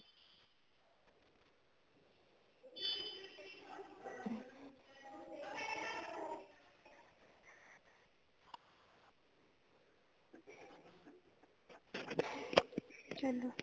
ਚਲੋ